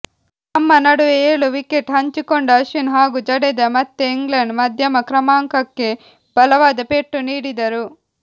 ತಮ್ಮ ನಡುವೆ ಏಳು ವಿಕೆಟ್ ಹಂಚಿಕೊಂಡ ಅಶ್ವಿನ್ ಹಾಗೂ ಜಡೇಜಾ ಮತ್ತೆ ಇಂಗ್ಲೆಂಡ್ ಮಧ್ಯಮ ಕ್ರಮಾಂಕಕ್ಕೆ ಬಲವಾದ ಪೆಟ್ಟು ನೀಡಿದರು